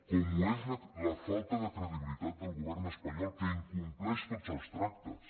com ho és la falta de credibilitat del govern espanyol que incompleix tots els tractes